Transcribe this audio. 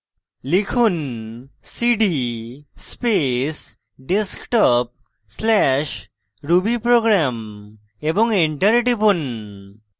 লিখুন cd space desktop/rubyprogram এবং enter টিপুন